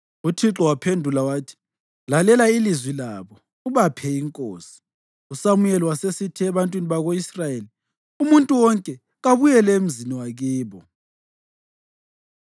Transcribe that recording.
Uthixo waphendula wathi, “Lalela ilizwi labo ubaphe inkosi.” USamuyeli wasesithi ebantwini bako-Israyeli, “Umuntu wonke kabuyele emzini wakibo.”